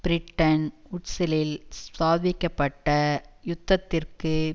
Bretton வூட்ஸ்ஸிலில் ஸ்தாபிக்க பட்ட யுத்தத்திற்கு